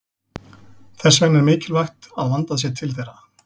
Þess vegna er mikilvægt að vandað sé til þeirra.